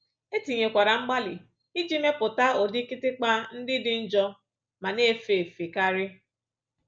E tinyekwara mgbalị iji mepụta ụdị kịtịkpa ndị dị njọ ma na-efe efe karị